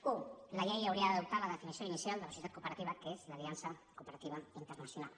u la llei hauria d’adoptar la definició inicial de la societat cooperativa que és l’aliança cooperativa internacional